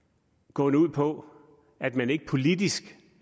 gående ud på at man ikke politisk